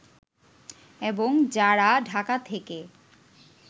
এবং যারা ঢাকা থেকে